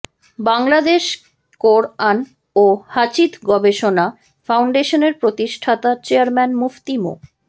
বাংলাদেশ কোরআন ও হাদিছ গবেষণা ফাউন্ডেশনের প্রতিষ্ঠাতা চেয়ারম্যান মুফতি মো